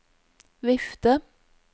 vifte